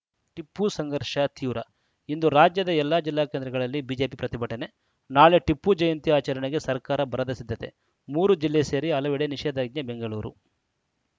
ಟಿಪ್ಪು ಸಂಘರ್ಷ ತೀವ್ರ ಇಂದು ರಾಜ್ಯದ ಜಿಲ್ಲಾ ಕೇಂದ್ರಗಳಲ್ಲಿ ಬಿಜೆಪಿ ಪ್ರತಿಭಟನೆ ನಾಳೆ ಟಿಪ್ಪು ಜಯಂತಿ ಆಚರಣೆಗೆ ಸರ್ಕಾರ ಭರದ ಸಿದ್ಧತೆ ಮೂರು ಜಿಲ್ಲೆ ಸೇರಿ ಹಲವೆಡೆ ನಿಷೇಧಾಜ್ಞೆ ಬೆಂಗಳೂರು